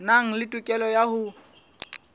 nang le tokelo ya ho